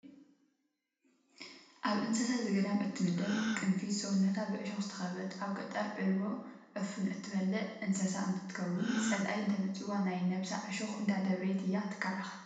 ኣብ እንስሳ ዘገዳም እትምደብ ቅንፊዝ ሰውነታ ብዕሾክ ዝተከበበት ኣብ ገጠር ዕልቦ/ዕፉን/ እትበልዕ እንስሳ እንትከውን፣ ፀላኢ እንተመፂዋ ናይ ነብሳ ዕሾክ እንዳደብረየት እያ ትከላከል።